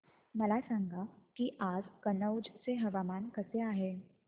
मला सांगा की आज कनौज चे हवामान कसे आहे